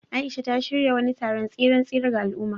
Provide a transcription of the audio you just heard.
Aisha, ta shirya wani taron tseren tsere ga al’umma.